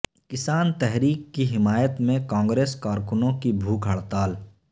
کسان تحریک کی حمایت میں کانگریس کارکنوں کی بھوک ہڑتال